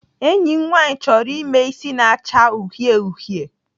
Enyi m nwaanyị chọrọ ime isi na-acha uhie uhie.